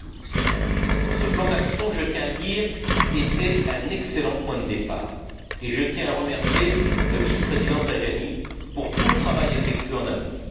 2012. Ce plan d'action, je tiens à le dire, était un excellent point de départ, et je tiens à remercier le vice président Tajani pour tout le travail effectué en amont.